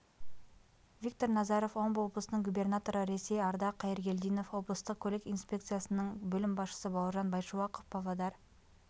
виктор назаров омбы облысының губернаторы ресей ардақ қайыргелдинов облыстық көлік инспекциясының бөлім басшысы бауыржан байшуақов павлодар